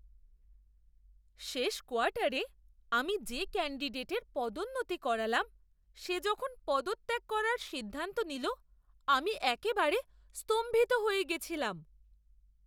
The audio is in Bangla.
শেষ কোয়ার্টারে আমি যে ক্যান্ডিডেটের পদোন্নতি করালাম, সে যখন পদত্যাগ করার সিদ্ধান্ত নিল, আমি একেবারে স্তম্ভিত হয়ে গেছিলাম!